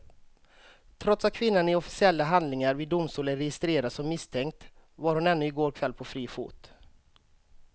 Trots att kvinnan i officiella handlingar vid domstol är registrerad som misstänkt var hon ännu i går kväll på fri fot.